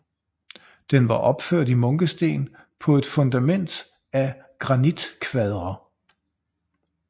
Den var opført i munkesten på et fundament af granitkvadre